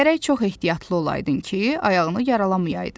Gərək çox ehtiyatlı olaydın ki, ayağını yaralamayaydın.